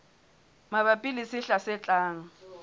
mabapi le sehla se tlang